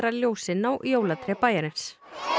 ljósin á jólatré bæjarins